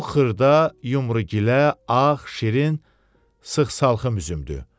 Bu xırda, yumru gilə, ağ, şirin, sıx salxım üzümdür.